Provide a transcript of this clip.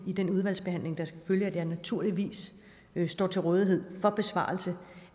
i den udvalgsbehandling der skal følge naturligvis står til rådighed for besvarelse